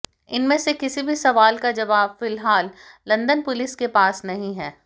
इनमें से किसी भी सवाल का जवाब फिलहाल लंदन पुलिस के पास नहीं है